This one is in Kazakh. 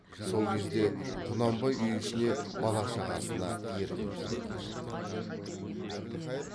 сол кезде құнанбай үй ішіне бала шағасына еркін тиетін болды